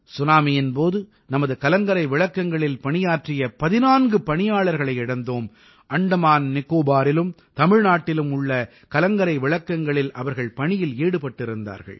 சுனாமியின் போது நமது கலங்கரை விளக்கங்களில் பணியாற்றிய 14 பணியாளர்களை இழந்தோம் அந்தமான் நிகோபாரிலும் தமிழ்நாட்டிலும் உள்ள கலங்கரை விளக்கங்களில் அவர்கள் பணியில் ஈடுபட்டிருந்தார்கள்